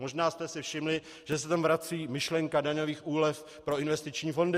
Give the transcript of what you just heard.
Možná jste si všimli, že se tam vrací myšlenka daňových úlev pro investiční fondy.